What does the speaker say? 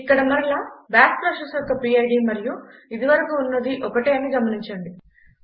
ఇక్కడ మరలా bash process యొక్క పిడ్ మరియు ఇది వరకు ఉన్నద ఒకటేనని గమనించండి